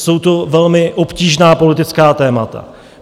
Jsou to velmi obtížná politická témata.